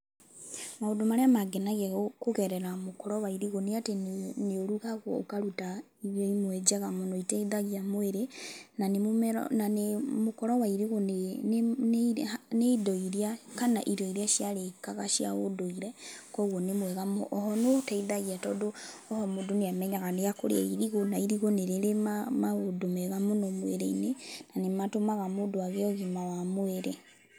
Maũndũ marĩa mangenagia kũgerera mũkũro wa irigũ nĩ atĩ nĩ ũrugagwo ũkaruta irio imwe njega mũno na nĩĩteithagia mwĩrĩ. Na mũkũro wa irigu nĩ indo iria kana nĩ irio iria ciarĩkaga cia ũndũire, koguo nĩ mwega mũno. O ho nĩũteithagia tondũ oho mũndũ nĩamenyaga nĩekũrĩa irigu na irigũ nĩrĩrĩ maũndũ mega mwĩrĩ-inĩ, na nĩmatũmaga mũndũ agĩe ũgima wa mwĩrĩ.